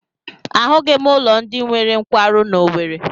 Ahụghị m ụlọ ndị nwere nkwarụ n'Owere.